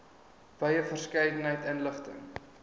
wye verskeidenheid inligting